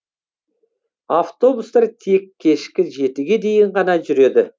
автобустар тек кешкі жетіге дейін ғана жүреді